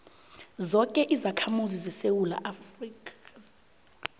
zoke izakhamuzi zesewula